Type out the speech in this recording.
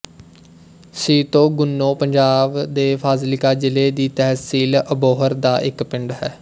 ਸੀਤੋ ਗੁੰਨੋ ਪੰਜਾਬ ਦੇ ਫਾਜ਼ਿਲਕਾ ਜ਼ਿਲ੍ਹੇ ਦੀ ਤਹਿਸੀਲ ਅਬੋਹਰ ਦਾ ਇੱਕ ਪਿੰਡ ਹੈ